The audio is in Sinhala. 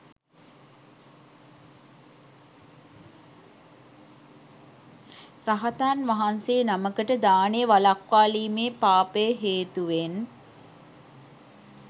රහතන් වහන්සේ නමකට දානය වළක්වාලීමේ පාපය හේතුවෙන්